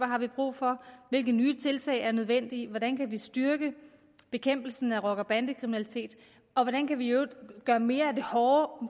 har brug for hvilke nye tiltag der er nødvendige hvordan vi kan styrke bekæmpelsen af rocker og bandekriminalitet og hvordan vi i øvrigt kan gøre mere